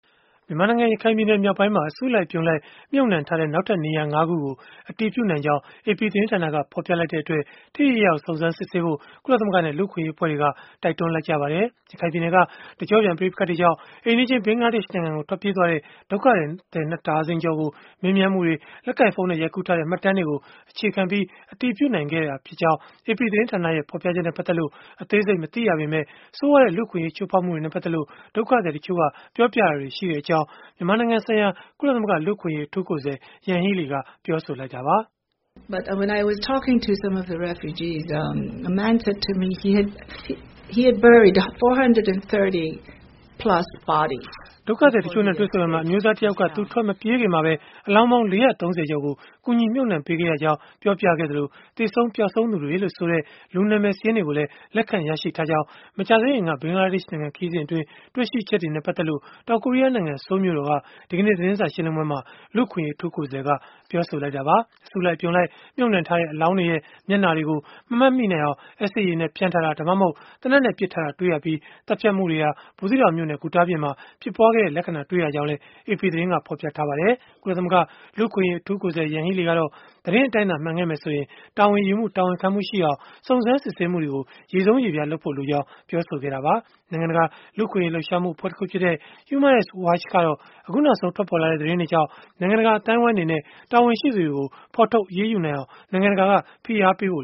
မြန်မာနိုင်ငံ ရခိုင်ပြည်နယ်မြောက်ပိုင်းမှာ အစုလိုက်အပြုံလိုက် မြှုပ်နှံထားတဲ့ နောက်ထပ်နေရာ ၅ ခုကို အတည်ပြုနိုင်ကြောင်း AP သတင်းဌာနက ဖော်ပြလိုက်တဲ့ အတွက် ထိထိရောက်ရောက် စုံစမ်းစစ်ဆေးဖို့ ကုလသမဂ္ဂနဲ့ လူ့အခွင့်အရေးအဖွဲ့တွေက တိုက်တွန်းလိုက်ကြပါတယ်။ ရခိုင်ပြည်နယ်က တကျော့ပြန် ပဋိပက္ခတွေကြောင့် အိမ်နီးချင်း ဘင်္ဂလားဒေ့ရှ်နိုင်ငံကို ထွက်ပြေးသွားတဲ့ ဒုက္ခသည် ၂ ဒါဇင်ကျော်ကို မေးမြန်းမှုတွေ၊ လက်ကိုင်ဖုန်းနဲ့ ရိုက်ကူးထားတဲ့ မှတ်တမ်းတွေကို အခြေခံပြီး အတည်ပြုနိုင်ခဲ့ကြောင်း AP သတင်းဌာနရဲ့ ဖော်ပြချက်နဲ့ ပတ်သက်လို့ အသေးစိတ် မသိရပေမဲ့၊ ဆိုးရွားတဲ့ လူ့အခွင့်အရေး ချိုးဖောက်မှုတွေနဲ့ ပတ်သက်လို့ ဒုက္ခသည်တချို့က ပြောပြတာတွေရှိကြောင်း မြန်မာနိုင်ငံဆိုင်ရာ ကုလသမဂ္ဂ လူ့အခွင့်အရေး အထူးကိုယ်စားလှယ် Yanghee Lee က ပြောဆိုလိုက်တာပါ။ ဒုက္ခသည်တချို့နဲ့ တွေ့ဆုံရာမှာ အမျိုးသားတယောက်က သူထွက်မပြေးခင်မှာပဲ အလောင်းပေါင်း ၄၃၀ ကျော်ကို ကူညီမြှုပ်နှံပေးခဲ့ရကြောင်း ပြောပြခဲ့သလို၊ သေဆုံး၊ ပျောက်ဆုံးသူတွေလို့ဆိုတဲ့ လူနာမည်စာရင်းတွေလည်း လက်ခံရရှိထားကြောင်း မကြာသေးခင်က ဘင်္ဂလားဒေ့ရှ်နိုင်ငံ ခရီးစဉ်အတွင်း တွေ့ရှိချက်တွေနဲ့ ပတ်သက်လို့ တောင်ကိုရီးယားနိုင်ငံ ဆိုးလ်မြို့တော်က သတင်းစာ ရှင်းလင်းပွဲမှာ လူ့အခွင့်အရေး အထူးကိုယ်စားလှယ်က ပြောဆိုလိုက်တာပါ။ အစုလိုက်အပြုံလိုက် မြှုပ်နှံထားတဲ့ အလောင်းတွေရဲ့ မျက်နှာတွေကိုတော့ မမှတ်မိနိုင်အောင် အက်ဆစ်ရည်နဲ့ဖျန်းထားတာ၊ ဒါမှမဟုတ် သေနတ်နဲ့ပစ်ထားတာ တွေ့ရပြီး၊ သတ်ဖြတ်မှုတွေဟာ ဘူးသီးတောင်မြို့နယ် ဂူတာပြင်မှာ ဖြစ်ပွားခဲ့တဲ့ လက္ခဏာတွေ့ရကြောင်းလည်း AP သတင်းက ဖော်ပြပါတယ်။ ကုလသမဂ္ဂ လူ့အခွင့်အရေး အထူးကိုယ်စားလှယ် Yanghee Lee ကတော့ သတင်းအတိုင်းသာ မှန်မယ်ဆိုရင်တော့ တာဝန်ယူမှု တာဝန်ခံမှုရှိအောင် စုံစမ်းစစ်ဆေးမှုတွေကို ရေဆုံးရေဖျား လုပ်ဖို့လိုအပ်ကြောင်း ပြောဆိုခဲ့တာပါ။ နိုင်ငံတကာ လူ့အခွင့်အရေး လှုပ်ရှားမှုအဖွဲ့တခုဖြစ်တဲ့ Human Rights Watch ကတော့ အခုနောက်ဆုံး ထွက်ပေါ်လာတဲ့ သတင်းတွေကြောင့် နိုင်ငံတကာ အသိုင်းအဝန်းအနေနဲ့ တာဝန်ရှိသူတွေကို ဖော်ထုတ် အရေးယူနိုင်အောင် ဖိအားပေးဖို့